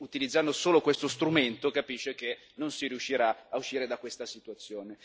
E, utilizzando solo questo strumento, capisce che non si riuscirà a uscire da questa situazione.